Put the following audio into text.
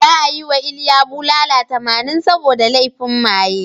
Za a yi wa Iliya bulala tamanin saboda laifin maye.